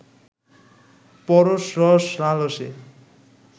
পরশ-রস-লালসে